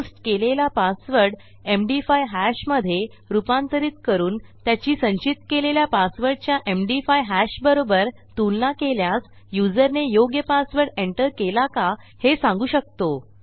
post केलेला password MD five hash मधे रूपांतरित करून त्याची संचित केलेल्या पासवर्डच्या एमडी5 हॅश बरोबर तुलना केल्यास युजरने योग्य पासवर्ड एंटर केला का हे सांगू शकू